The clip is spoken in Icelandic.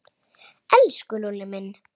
Elsku Lúlli minn.